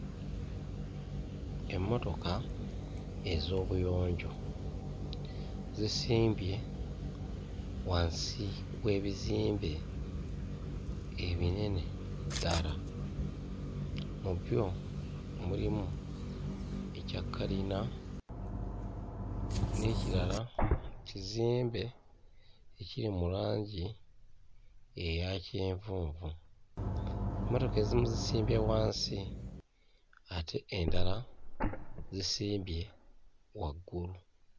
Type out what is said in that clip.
Emmotoka ez'obuyonjo zisimbye wansi w'ebizimbe ebinene ddala. Mu byo mulimu ekya kalina, n'ekirala kizimbe ekiri mu langi eya kyenvunvu. Mmotoka ezimu zisimbye wansi ate endala zisimbye waggulu.